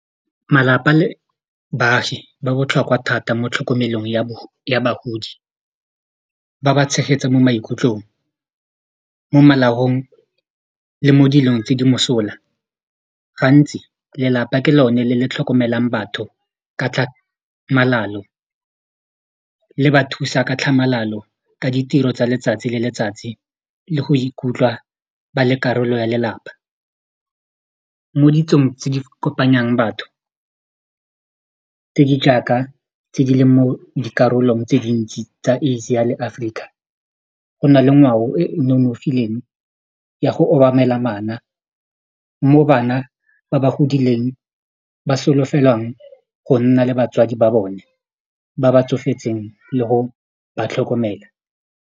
Malapa le baagi ba botlhokwa thata mo tlhokomelong ya bagodi ba ba tshegetsa mo maikutlong, mo molaong le mo dilong tse di mosola gantsi lelapa ke lone le le tlhokomelang batho ka tlhamalalo, le ba thusa ka tlhamalalo ka ditiro tsa letsatsi le letsatsi le go ikutlwa ba le karolo ya lelapa mo ditsong tse di kopanyang batho tse di jaaka tse di leng mo dikarolong tse dintsi tsa Asia le Africa go na le ngwao e e nonofileng ya go obamela mo bana ba ba godileng ba solofelwang go nna le batswadi ba bone ba ba tsofetseng le go ba tlhokomela.